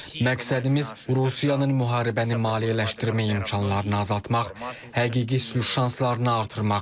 Məqsədimiz Rusiyanın müharibəni maliyyələşdirmə imkanlarını azaltmaq, həqiqi sülh şanslarını artırmaqdır.